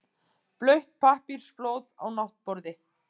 Blautt pappírsflóð á náttborði.